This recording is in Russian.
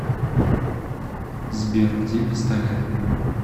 сбер где пистолет